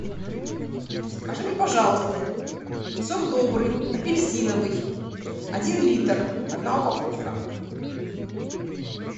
закажи мне пожалуйста сок добрый апельсиновый один литр одна упаковка